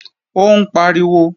Ó ń pariwo